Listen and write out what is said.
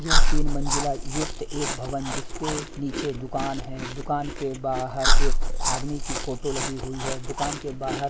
यह तीन मंजिला युक्त एक भवन जिस पर नीचे दुकान है दुकान के बाहर एक आदमी की फोटो लगी हुई है दुकान के बाहर--